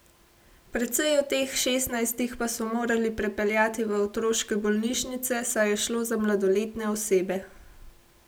Precej od teh šestnajstih pa so morali prepeljati v otroške bolnišnice, saj je šlo za mladoletne osebe.